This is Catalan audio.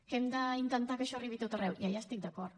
que hem d’intentar que això arribi a tot arreu ja hi estic d’acord